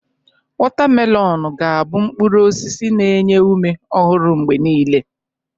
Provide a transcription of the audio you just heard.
Watamelọn ga abụ mkpụrụ osisi na-enye ume ọhụrụ mgbe niile.